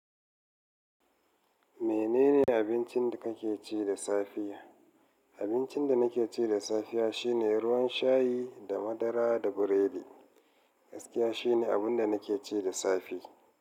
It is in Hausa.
Menene abincin da kake ci da safiya? Abincin da nake ci da safiya shine ruwan shayi da madara da biredi. Gaskiya shine abun da nake ci da safe.